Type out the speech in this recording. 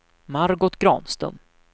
Margot Granström